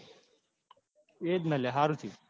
એ જ ને લ્યા સારું થયું.